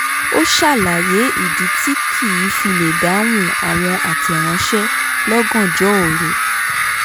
ó ṣàlàyé ìdí tí kìí fi lè dáhùn àwọn àtẹ̀ránṣẹ́ lọ́gàjnọ́ òru